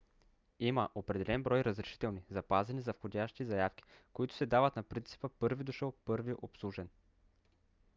има определен брой разрешителни запазени за входящи заявки които се дават на принципа първи дошъл първи обслужен